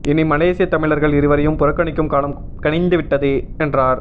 இனி மலேசிய தமிழர்கள் இவரையும் புறக்கணிக்கும் காலம் கனிந்து விட்டது என்றார்